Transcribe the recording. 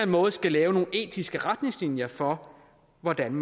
måde skal lave nogle etiske retningslinjer for hvordan